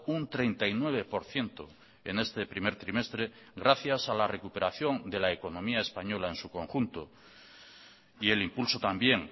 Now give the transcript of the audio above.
un treinta y nueve por ciento en este primer trimestre gracias a la recuperación de la economía española en su conjunto y el impulso también